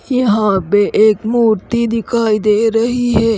यहाँ पे एक मूर्ति दिखाई दे रही है।